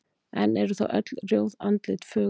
En eru þá öll rjóð andlit fögur?